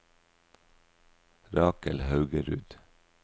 Rakel Haugerud